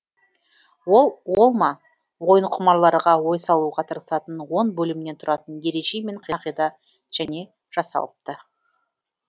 ол ол ма ойынқұмарларға ой салуға тырысатын он бөлімнен тұратын ереже мен қағида және жасалыпты